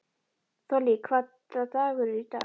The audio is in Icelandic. Þollý, hvaða dagur er í dag?